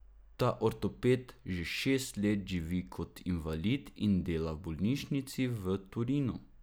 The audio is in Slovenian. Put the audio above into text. Ta ortoped že šest let živi kot invalid in dela v bolnišnici v Torinu.